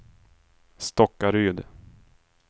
Stockaryd